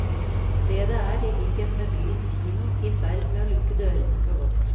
Stedet er, i likhet med byens kino, i ferd med å lukke dørene for godt.